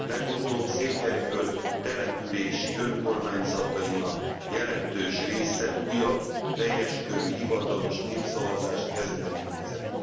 Legutóbb Székelyföld települési önkormányzatainak jelentős része újabb, teljeskörű hivatalos népszavazást kezdeményezett.